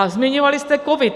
A zmiňovali jste covid.